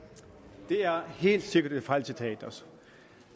er citeret for